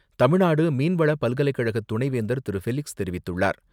தமிழ்நாடு மீன்வள பல்கலைக்கழக துணைவேந்தர் திரு. ஃபெலிக்ஸ் தெரிவித்துள்ளார்.